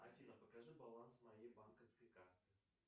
афина покажи баланс моей банковской карты